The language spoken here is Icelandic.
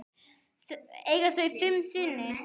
Eiga þau fimm syni.